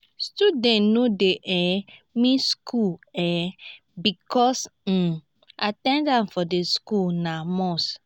students no de um miss school um because um at ten dance for di school na must